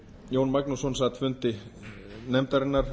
jón magnússon háttvirtur þingmaður sat fundi nefndarinnar